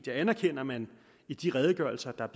jeg anerkender at man i de redegørelser der